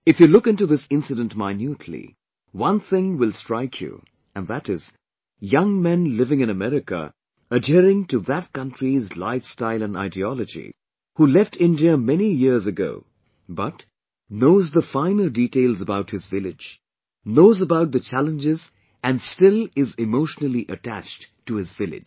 If you look into this incident minutely, one thing will strike you and that is the young man living in America adhering to that country's lifestyle and ideology, who left India many years ago but, knows the finer details about his village, knows about the challenges and still is emotionally attached to his village